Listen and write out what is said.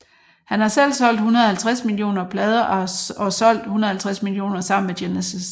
Han har selv solgt 150 millioner plader og solgt 150 millioner sammen med Genesis